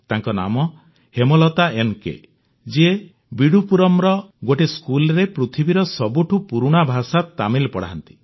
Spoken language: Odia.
ତାଙ୍କ ନାମ ହେମଲତା ଏନ୍ କେ ଯିଏ ବିଡ୍ଡୁପୁରମ୍ର ଗୋଟିଏ ସ୍କୁଲ୍ରେ ପୃଥିବୀର ସବୁଠୁ ପୁରୁଣା ଭାଷା ତାମିଲ ପଢ଼ାନ୍ତି